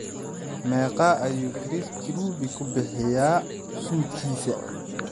meeqa ayuu chris kirubi ku bixiyaa suudhkiisa